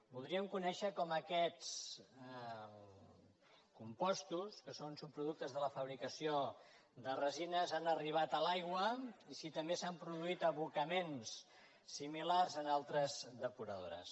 voldríem conèixer com aquests compostos que són subproductes de la fabricació de resines han arribat a l’aigua i si també s’han produït abocaments similars en altres depuradores